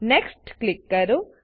next click કરો